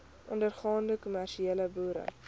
ondergaande kommersiële boere